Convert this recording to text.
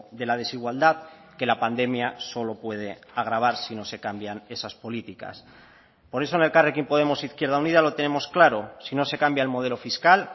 de la desigualdad que la pandemia solo puede agravar si no se cambian esas políticas por eso en elkarrekin podemos izquierda unida lo tenemos claro si no se cambia el modelo fiscal